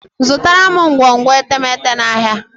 Zụtara m ngwongwo etemeete n'ahia